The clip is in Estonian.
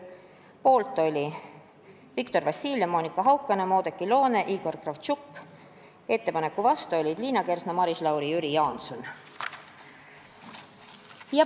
Ettepaneku poolt olid Viktor Vassiljev, Monika Haukanõmm, Oudekki Loone, Igor Kravtšenko ning vastu Liina Kersna, Maris Lauri ja Jüri Jaanson.